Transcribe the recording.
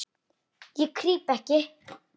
Ég, ég krýp ekki.